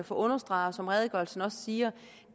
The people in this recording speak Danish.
få understreget og som redegørelsen også siger